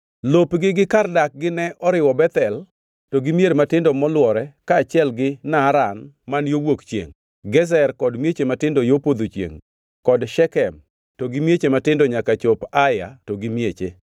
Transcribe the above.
Lopgi gi kar dakgi ne oriwo Bethel to gi mier matindo molwore kaachiel gi Naaran man yo wuok chiengʼ, Gezer kod mieche matindo yo podho chiengʼ kod Shekem to gi mieche matindo nyaka chop Aya to gi mieche.